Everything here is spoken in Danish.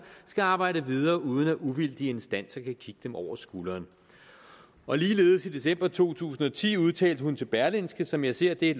skal arbejde videre uden at uvildige instanser kan kigge dem over skulderen ligeledes i december to tusind og ti udtalte hun til berlingske som jeg ser det